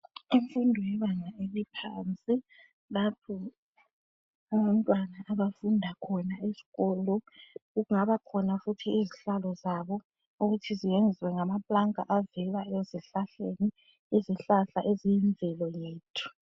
imfundo yebanga eliphansilapho abantwana abafundakhona esikolo kungabakhona futhi izihlalo zabo ukuthi ziyenzwa ngamapulanka avela ezihlahleni izihlahla eziyimvelo yethu